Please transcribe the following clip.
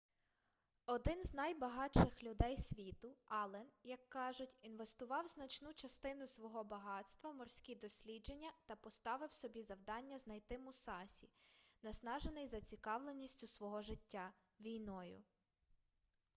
один з найбагатших людей світу аллен як кажуть інвестував значну частину свого багатства в морські дослідження та поставив собі завдання знайти мусасі наснажений зацікавленістю свого життя війною